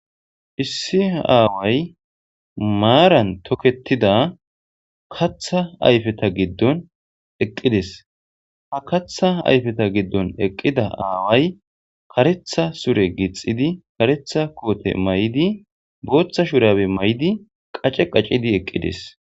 Issi aaway maaran tokeththida kaththa ayfetha giddon eqqi des; ha kaththa ayfetha giddon eqqida aaway kareththa sure gixxidi kareththa koote mayidi booththa shuraabe mayidi qace qacidi eqqi des.